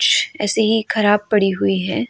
ऐसे ही खराब पड़ी हुई है।